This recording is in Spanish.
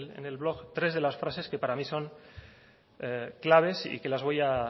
en el blog tres de las frases que para mí son claves y que las voy a